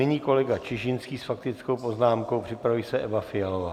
Nyní kolega Čižinský s faktickou poznámkou, připraví se Eva Fialová.